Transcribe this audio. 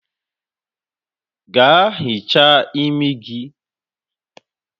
Gaa hichaa imi gi!